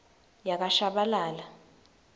yakashabalala